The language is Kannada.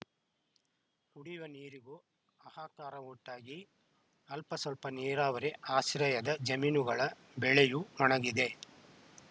ಕುಡಿಯುವ ನೀರಿಗೂ ಹಾಹಾಕಾರ ಉಂಟಾಗಿ ಅಲ್ಪಸ್ವಲ್ಪ ನೀರಾವರಿ ಆಶ್ರಯದ ಜಮೀನುಗಳ ಬೆಳೆಯೂ ಒಣಗಿದೆ